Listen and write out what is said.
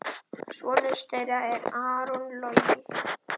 Sonur þeirra er Aron Logi.